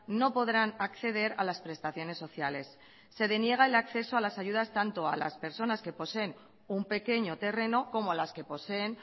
no podrán acceder a las prestaciones sociales se deniega el acceso a las ayudas tanto a las personas que poseen un pequeño terreno como a las que poseen